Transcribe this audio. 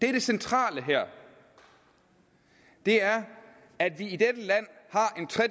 er det centrale her er at vi